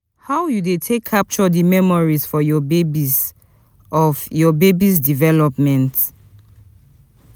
How you dey take capture di memories of your baby's of your baby's development